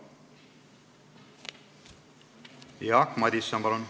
Jaak Madison, palun!